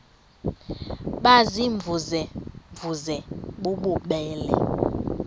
baziimvuze mvuze bububele